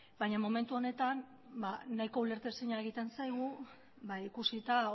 baina momentu honetan ba nahiko ulertezina egiten zaigu ikusita